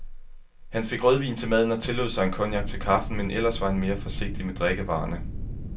Han fik rødvin til maden og tillod sig en cognac til kaffen, men ellers var han være forsigtig med drikkevarerne.